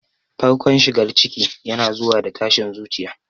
Farkon shigar ciki yana zuwa da tashin zuciya.